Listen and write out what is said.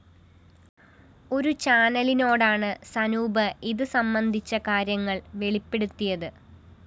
ഒരു ചാനലിനോടാണ് സനൂപ് ഇതു സംബന്ധിച്ച കാര്യങ്ങള്‍ വെളിപ്പെടുത്തിയത്